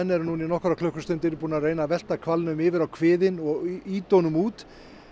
eru núna í nokkrar klukkustundir búnir að reyna að velta hvalnum yfir á kviðinn og ýta honum út